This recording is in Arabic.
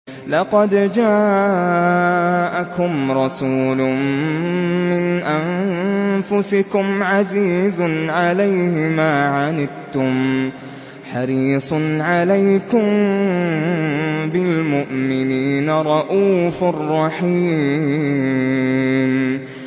لَقَدْ جَاءَكُمْ رَسُولٌ مِّنْ أَنفُسِكُمْ عَزِيزٌ عَلَيْهِ مَا عَنِتُّمْ حَرِيصٌ عَلَيْكُم بِالْمُؤْمِنِينَ رَءُوفٌ رَّحِيمٌ